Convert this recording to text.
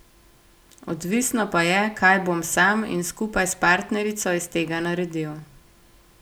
Odvisno pa je, kaj bom sam in skupaj s partnerico iz tega naredil.